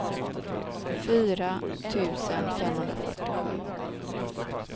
fyra tusen femhundrafyrtiosju